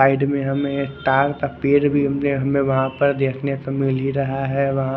side में एक तार पर पेड़ भी उगे हमे वहा पर देखने को मिली रहा है वहा--